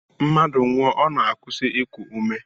Mmadụ nwụọ, ọ na-akwụsị iku ume